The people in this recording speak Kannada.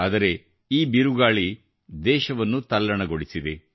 ಆದರೆ ಈ ಬಿರುಗಾಳಿ ದೇಶವನ್ನು ತಲ್ಲಣಗೊಳಿಸಿದೆ